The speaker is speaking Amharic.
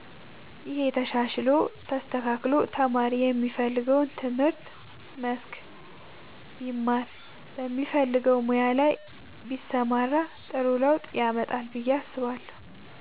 ይሄ ተሻሽሎ ተስተካክሎ ተማሪ የሚፈልገውን የትምህርት መስክ ቢማር በሚፈልገው ሙያ ላይ ቢሰማራ ጥሩ ለውጥ ያመጣል ብዬ አስባለሁ።